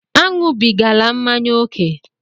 Aṅụbigala mmanya ókè!